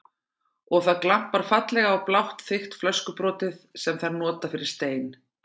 Og það glampar fallega á blátt þykkt flöskubrotið sem þær nota fyrir stein.